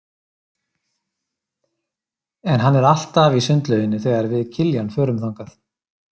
En hann er alltaf í sundlauginni þegar við Kiljan förum þangað.